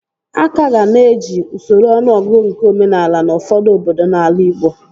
A kaga na-eji usoro ọnụọgụgụ nke omenaala n'ufọdụ obodo n'ala Ịgbo